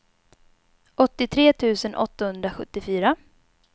åttiotre tusen åttahundrasjuttiofyra